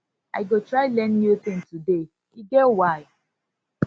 i go try learn new tin today e get why